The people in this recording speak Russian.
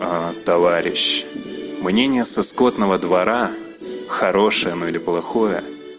а товарищ мнение со скотного двора хорошее оно или плохое